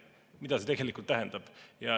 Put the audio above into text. Seda see tegelikult tähendab.